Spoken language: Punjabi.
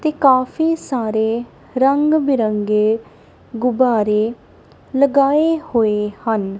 ਤੇ ਕਾਫੀ ਸਾਰੇ ਰੰਗ ਬਿਰੰਗੇ ਗੁੱਬਾਰੇ ਲਗਾਏ ਹੋਏ ਹਨ।